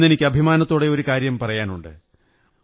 ഇന്നെനിക്ക് അഭിമാനത്തോടെ ഒരു കാര്യം പറയാനുണ്ട്